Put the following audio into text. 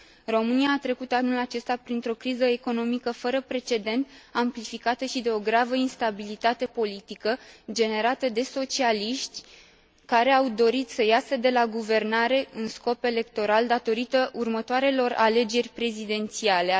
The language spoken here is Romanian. România a trecut anul acesta printr o criză economică fără precedent, amplificată și de o gravă instabilitate politică generată de socialiști, care au dorit să iasă de la guvernare în scop electoral datorită următoarelor alegeri prezidențiale.